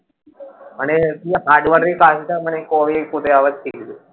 মানে কাজ hardware এর এই কাজটা কবে কোথায় আবার শিখবি?